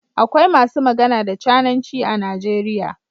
Akwai masu magana da cananci a Najeriya.